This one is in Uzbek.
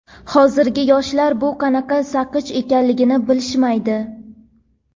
Hozirgi yoshlar bu qanaqa saqich ekanligini bilishmaydi.